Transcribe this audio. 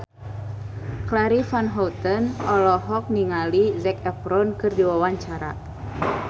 Charly Van Houten olohok ningali Zac Efron keur diwawancara